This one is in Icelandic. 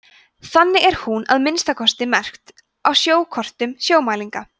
þannig er hún að minnsta kosti merkt á sjókortum sjómælinga